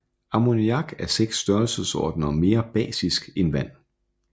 Ammoniak er 6 størrelsesordener mere basisk end vand